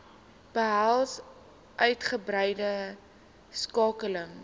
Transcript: behels uitgebreide skakeling